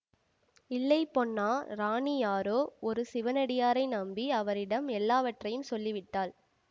இல்லை பொன்னா ராணி யாரோ ஒரு சிவனடியாரை நம்பி அவரிடம் எல்லாவற்றையும் சொல்லிவிட்டாள்